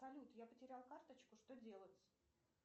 салют я потерял карточку что делать